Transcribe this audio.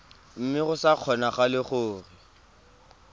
mme go sa kgonagale gore